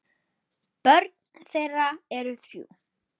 Börn þeirra eru þrjú.